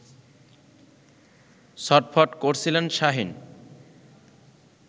ছটফট করছিলেন শাহীন